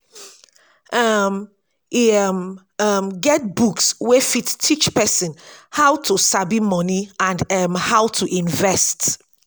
um e um um get books wey fit teach person how to sabi money and um how to invest